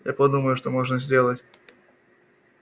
я подумаю что можно сделать